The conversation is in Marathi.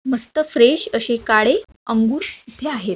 मस्त फ्रेश अशे काळे अंगुर इथे आहेत.